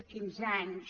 quinze anys